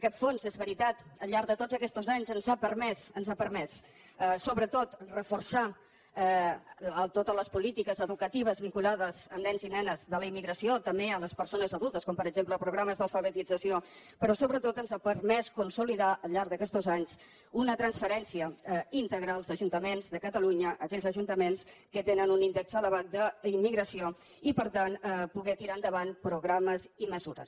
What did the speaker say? aquest fons és veritat al llarg de tots aquestos anys ens ha permès ens ha permès sobretot reforçar totes les polítiques educatives vinculades amb nens i nenes de la immigració també a les persones adultes com per exemple programes d’alfabetització però sobretot ens ha permès consolidar al llarg d’aquestos anys una transferència íntegra als ajuntaments de catalunya a aquells ajuntaments que tenen un índex elevat d’immigració i per tant poder tirar endavant programes i mesures